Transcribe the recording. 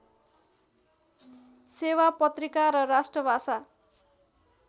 सेवा पत्रिका र राष्ट्रभाषा